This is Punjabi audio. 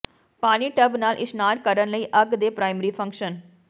ਪਾਣੀ ਟੱਬ ਨਾਲ ਇਸ਼ਨਾਨ ਕਰਨ ਲਈ ਅੱਗ ਦੇ ਪ੍ਰਾਇਮਰੀ ਫੰਕਸ਼ਨ